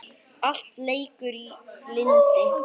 Allt leikur í lyndi.